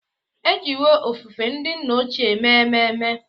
E jiwo ofufe ndị nna ochie mee ememe.